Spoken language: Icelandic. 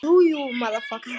Sigurvin beið ekki boðanna.